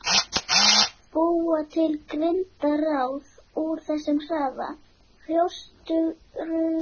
Búa til girndarráð úr þessum harða, hrjóstruga jarðvegi föðurins.